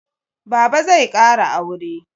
Baba zai ƙara aure.